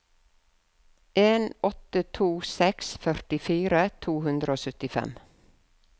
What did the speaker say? en åtte to seks førtifire to hundre og syttifem